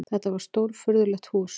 Þetta var stórfurðulegt hús.